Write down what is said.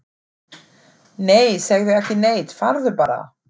Nei, segðu ekki neitt, farðu bara.